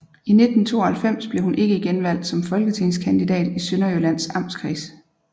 I 1992 blev hun ikke genvalgt som folketingskandidat i Sønderjyllands Amtskreds